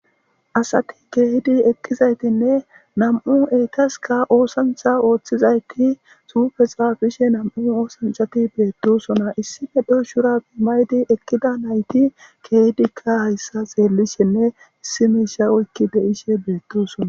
Asathi keehidi eqqizayssenne nam7u ethaskka oosanchcha ooththizaykki huupheshaa bishe nam7i oosanchchathi beeththoosona; issippe shuraabe maayidi eqqida naythi keehidikka hayththaa tseellishenne isssi miishshaa oykki be7ishee beeththoosona.